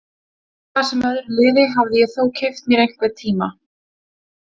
Hvað sem öðru liði hafði ég þó keypt mér einhvern tíma.